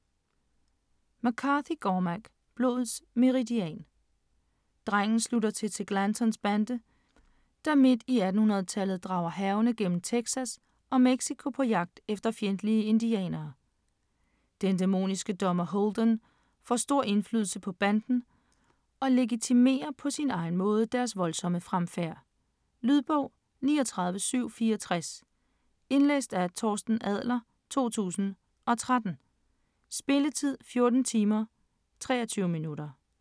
McCarthy, Cormac: Blodets meridian Drengen slutter sig til Glantons bande, der midt i 1800-tallet drager hærgende gennem Texas og Mexico på jagt efter fjendtlige indianere. Den dæmoniske dommer Holden får stor indflydelse på banden og legitimerer på sin egen måde deres voldsomme fremfærd. Lydbog 39764 Indlæst af Torsten Adler, 2013. Spilletid: 14 timer, 23 minutter.